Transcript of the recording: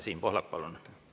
Siim Pohlak, palun!